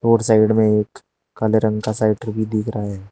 और साइड में एक काले रंग का साइकल भी दिख रहा है।